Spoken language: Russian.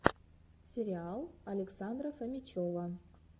сериал александра фомичева